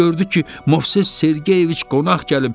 Gördü ki, Movses Sergeyeviç qonaq gəlib.